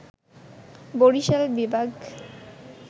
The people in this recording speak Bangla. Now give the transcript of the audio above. বরিশাল বিভাগ